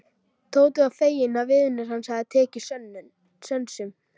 Tóti var feginn að vinur hans hafði tekið sönsum.